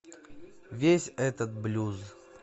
весь этот блюз